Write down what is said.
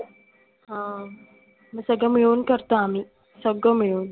हा सगळ मिळून करतो आम्ही, सगळ मिळून.